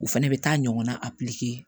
U fɛnɛ bɛ taa ɲɔgɔnna a